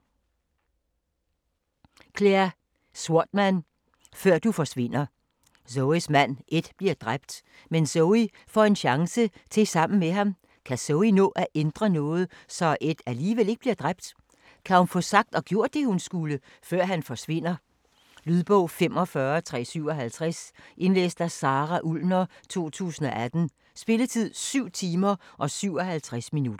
Swatman, Clare: Før du forsvinder Zoes mand Ed bliver dræbt, men Zoe får en chance til sammen med ham. Kan Zoe nå at ændre noget, så Ed alligevel ikke bliver dræbt? Kan hun få sagt og gjort det hun skulle, før han forsvinder? Lydbog 45357 Indlæst af Sara Ullner, 2018. Spilletid: 7 timer, 57 minutter.